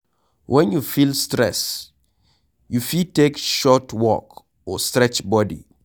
When you feel stress, you fit take short walk or stretch body